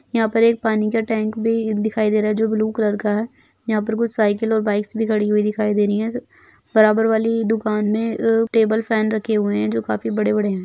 यहाँ पर एक पानी का टैंक भी दिखाई दे रहा है जो ब्लू कलर का है यहाँ पर कुछ साइकिल और कुछ बाइक्स भी खड़ी हुई दिखाई दे रहीं हैं बराबर वाली दुकान में अ टेबल फैन रखे हुए हैं जो काफी बड़े-बड़े हैं।